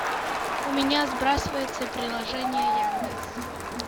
у меня сбрасывается приложение яндекс